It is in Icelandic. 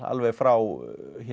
alveg frá